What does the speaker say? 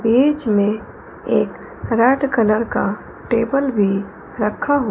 बीच में एक red colour का टेबल भी रखा हु--